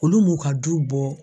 Olu m'u ka du bɔ